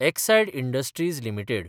Exide Industries limited